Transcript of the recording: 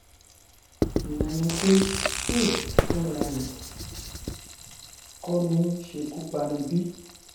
ìyẹn ni pé aids fúnrarẹ kọ ni nsẹkú pani bí